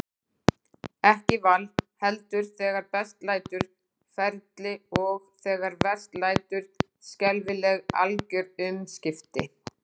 Ekki val, heldur- þegar best lætur- ferli, og, þegar verst lætur, skelfileg, algjör umskipti.